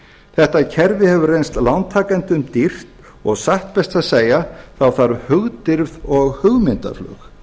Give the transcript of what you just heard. þetta kerfi hefur reynst lántakendum dýrt og satt best að segja þarf hugdirfð og hugmyndaflug